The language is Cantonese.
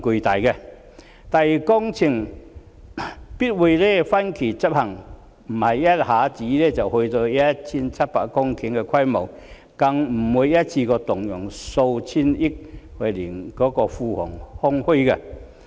第二，工程必會分期執行，不是一下子便達致 1,700 公頃的規模，更不會一次過動用數千億元，令庫房空虛。